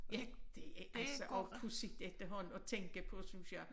Ja det er altså også pudsigt efterhånden at tænke på synes jeg